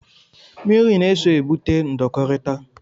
Mmiri na-eso egbute ndọkọrita.